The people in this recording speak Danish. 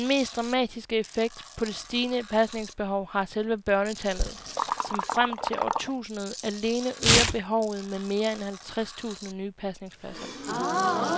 Den mest dramatiske effekt på det stigende pasningsbehov har selve børnetallet, som frem til årtusindskiftet alene øger behovet med mere end halvtres tusind nye pasningspladser.